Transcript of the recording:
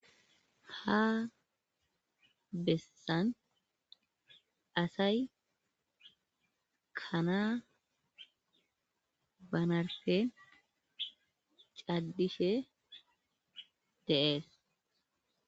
ha bessan asay kanaa banarfen cadishe deees